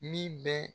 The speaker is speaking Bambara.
Min bɛ